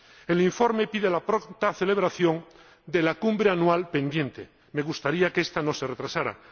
El informe pide la pronta celebración de la cumbre anual pendiente —me gustaría que esta no se retrasara—.